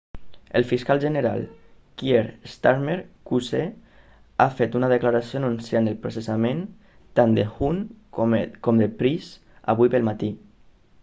el fiscal general kier starmer qc ha fet una declaració anunciant el processament tant de huhne com de pryce avui pel matí